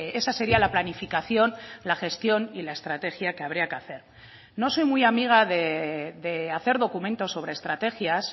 esa sería la planificación la gestión y la estrategia que habría que hacer no soy muy amiga de hacer documentos sobre estrategias